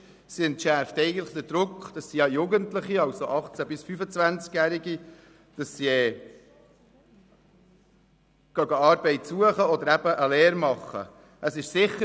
Sie entschärft den Druck auf die Jugendlichen zwischen 18 und 25 Jahren, eine Arbeit zu suchen oder eine Lehre zu absolvieren.